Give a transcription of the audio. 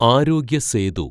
ആരോഗ്യ സേതു